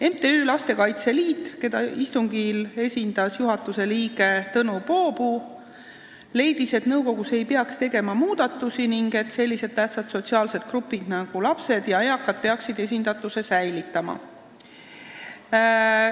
MTÜ Lastekaitse Liit, keda istungil esindas juhatuse liige Tõnu Poopuu, leiab, et nõukogus ei peaks tegema muudatusi ning sellised tähtsad sotsiaalsed grupid nagu lapsed ja eakad peaksid oma esindatuse säilitama.